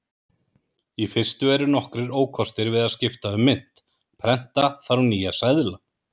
Í fyrstu eru nokkrir ókostir við að skipta um mynt: Prenta þarf nýja seðla.